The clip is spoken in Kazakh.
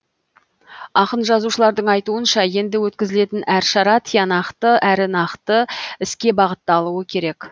ақын жазушылардың айтуынша енді өткізілетін әр шара тиянақты әрі нақты іске бағытталуы керек